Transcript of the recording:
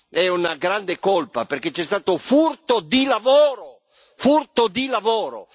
È una grande colpa perché c'è stato furto di lavoro, furto di lavoro!